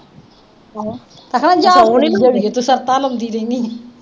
ਸ਼ਰਤਾਂ ਲਾਉਂਦੀ ਰਹਿਨੀ ਏਂ।